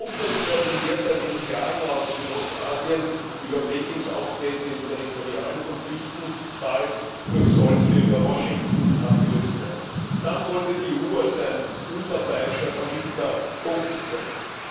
Unter Umständen werden die derzeitigen Klagen aus Südostasien über Pekings Auftreten in territorialen Konflikten bald durch solche über Washington abgelöst werden. Dann sollte die EU als ein unparteiischer Vermittler punkten können.